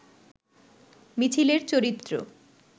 মিছিলের চরিত্র